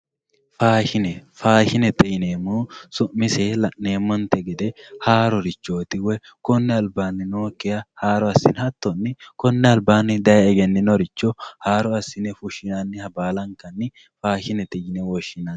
Faashine faashinete yineemmohu su'miseyi la'neemonte gede haarorichoti koni alibanni nookiha haaro asine hatonni konni alibanni daye eggeninokiricho haaro assine fushinaniha baalankanni faashinete yine woshinani